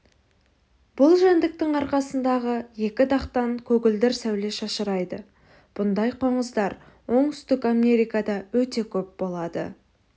бұл жәндіктің арқасындағы екі дақтан көгілдір сәуле шашырайды мұндай қоңыздар оңтүстік америкада өте көп болады